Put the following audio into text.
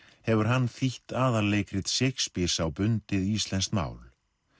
hefur hann þýtt Shakespeares á bundið íslenskt mál